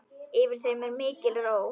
Yfir þeim er mikil ró.